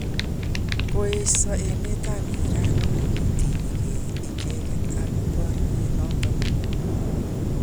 Ko esio emet ab Iran kole kitiny ge icheket ak boriot nondon